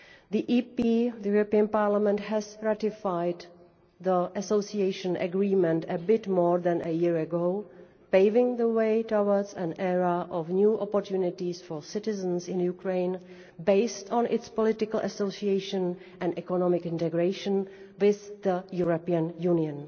The European Parliament ratified the Association Agreement a bit more than a year ago, paving the way towards an era of new opportunities for citizens in Ukraine, based on its political association and economic integration with the European Union.